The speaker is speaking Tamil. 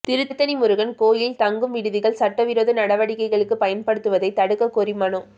திருத்தணி முருகன் கோவில் தங்கும் விடுதிகளை சட்டவிரோத நடவடிக்கைகளுக்கு பயன்படுத்துவதை தடுக்கக் கோரி மனு